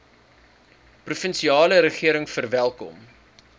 provinsiale regering verwelkom